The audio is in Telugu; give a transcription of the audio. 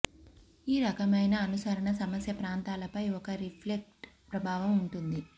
ఈ రకమైన అనుసరణ సమస్య ప్రాంతాలపై ఒక రిఫ్లెక్స్ ప్రభావం ఉంటుంది